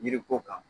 Yiri ko kan